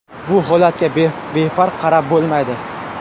Bu holatga befarq qarab bo‘lmaydi.